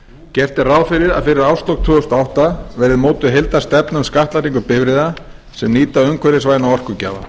gert er ráð fyrir að fyrir árslok tvö þúsund og átta verði mótuð heildarstefna um skattlagningu bifreiða sem nýta umhverfisvæna orkugjafa